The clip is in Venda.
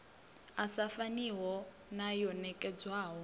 sa faniho na yo nekedzwaho